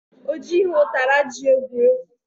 Ọ jighị ụtara ji egwu egwu